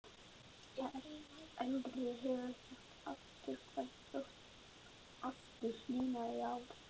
Elri hefur ekki átt afturkvæmt þótt aftur hlýnaði í ári.